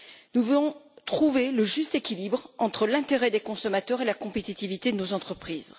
Nous voulons trouver le juste équilibre entre l'intérêt des consommateurs et la compétitivité de nos entreprises.